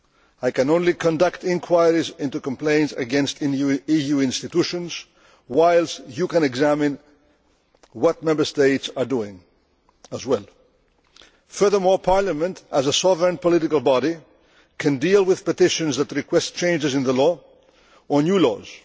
I can only conduct inquiries into complaints against EU institutions, whilst you can examine what Member States are doing as well. Furthermore, Parliament, as a sovereign political body, can deal with petitions that request changes in the law or new laws.